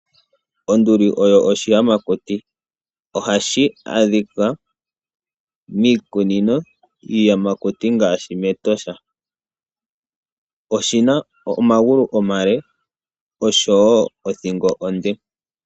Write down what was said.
Onduli oyo oshiyamakuti. Ohashi adhika miikununo yiiyamakuti ngaashi mEtosha National Park . Oshina omagulu noshowoo othingo onde.